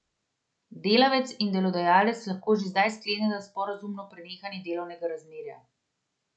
Delavec in delodajalec lahko že zdaj skleneta sporazumno prenehanje delovnega razmerja.